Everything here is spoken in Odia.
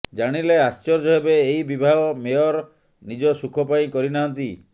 ଜାଣିଲେ ଆଶ୍ଚର୍ଯ୍ୟ ହେବେ ଏହି ବିବାହ ମେୟର ନିଜ ସୁଖ ପାଇଁ କରିନାହାନ୍ତି